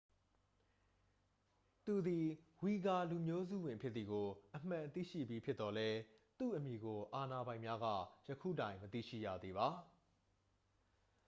သူသည် ဝီဂါလူမျိုးစုဝင်ဖြစ်သည်ကို အမှန်သိရှိပြီးဖြစ်သော်လည်း သူ့အမည်ကို အာဏာပိုင်များက ယခုတိုင် မသိရှိရသေးပါ